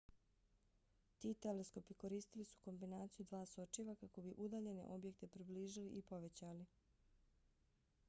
ti teleskopi koristili su kombinaciju dva sočiva kako bi udaljene objekte približili i povećali